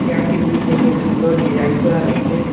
চেয়ারটির মধ্যে অনেক সুন্দর ডিজাইন করা রয়েছে।